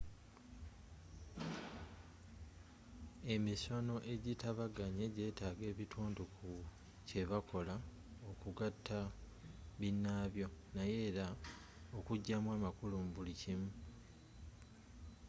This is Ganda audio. emisono ejitabaganye jeetaga ebitundu ku kyebakola okugata binaabyo naye era okujamu amakulu mu buli kimu